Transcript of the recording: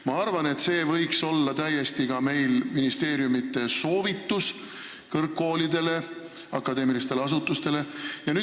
Ma arvan, et see võiks ka nüüd olla ministeeriumi soovitus kõrgkoolidele, akadeemilistele asutustele.